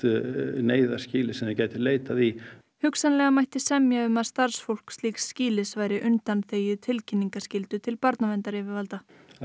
neyðarskýli sem þau gætu leitað í hugsanlega mætti semja um að starfsfólk slíks skýlis væri undanþegið tilkynningaskyldu til barnaverndaryfirvalda